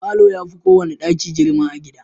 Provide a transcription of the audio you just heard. Falo ya fi kowane daki girma a gida.